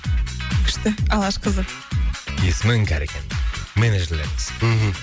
күшті алашқызы есімі іңкәр екен менеджерлеріміз мхм